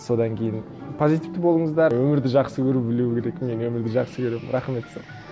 содан кейін позитивті болыңыздар өмірді жақсы көру білу керек мен өмірді жақсы көремін рахмет сол